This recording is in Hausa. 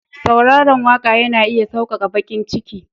sauraron waka yana iya sauƙaƙa baƙin ciki.